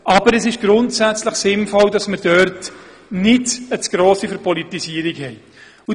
Aber es ist grundsätzlich sinnvoll, dass wir dort keine zu grosse Verpolitisierung haben.